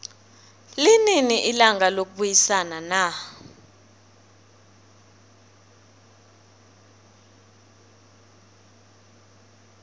linini ilanga lokubayisana na